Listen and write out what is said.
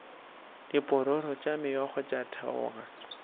diphororo tša meokgo tša theoga